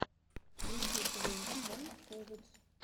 включи твенти ван сэвэдж